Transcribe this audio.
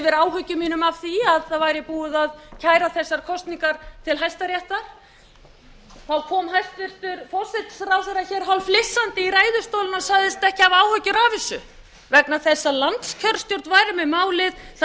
yfir áhyggjum mínum af því að þetta væri búið að kæra þessar kosningar til hæstaréttar kom hæstvirtur forsætisráðherra hér hálfflissandi í ræðustólinn og sagðist ekki hafa áhyggjur af þessu vegna þess að landskjörstjórn væri með málið það